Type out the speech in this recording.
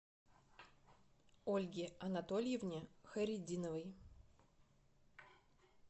ольге анатольевне хайретдиновой